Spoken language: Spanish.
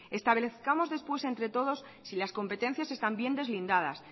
establezcamos después entre todos si las competencias están bien deslindadas